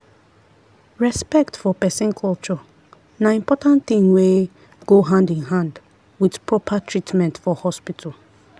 respect for person culture na important thing wey go hand in hand with proper treatment for hospital.